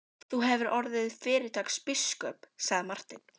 Þú hefðir orðið fyrirtaks biskup, sagði Marteinn.